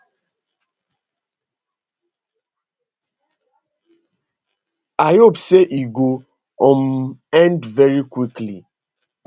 i hope say e go um end very quickly